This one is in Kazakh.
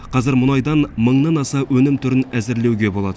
қазір мұнайдан мыңнан аса өнім түрін әзірлеуге болады